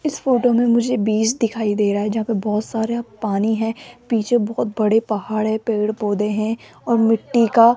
इस फोटो में मुझे बीज दिखाई दे रहा है जहां पे बहोत सारा पानी है पीछे बहोत बड़े पहाड़ है पेड पौधे हैं और मिट्ठी का --